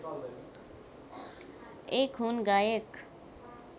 एक हुन् गायक